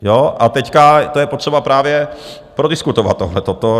A teď to je potřeba právě prodiskutovat, tohle.